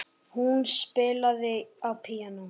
Hún spilaði á píanó.